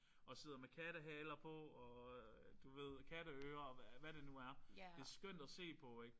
Og sidder med kattehaler på og du ved katteører. Hvad det nu er. Det er skønt at se på ik